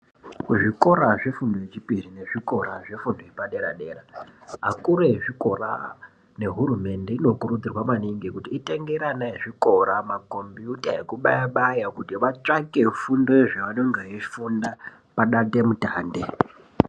Kuzvikora zvefundo yechipiri nezvikora zvefundo yepaderadera akuru ezvikora nehurumende inokurudzirwa maningi kuti itengere ana ezvikora makombuta ekubayabaya kuti vatsvake fundo yezvaanenge eifunda padandemutande.